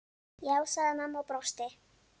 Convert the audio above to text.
Já, sagði mamma og brosti.